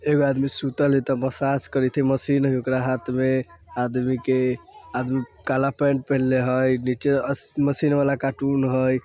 एगो आदमी सुतल हई तब मसाज करत हई मशीन हई ओकरा हाथ में आदमी के आदमी आदमी काला पेंट पेहनले हई अ नीचे मशीन वाला कार्टून हई ।